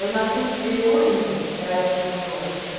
Eu nasci e me criei em uma ilha, que era a Ilha Tamanduá.